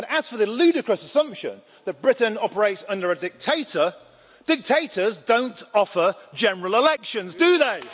And, as for the ludicrous assumption that Britain operates under a dictator, dictators don't offer general elections, do they?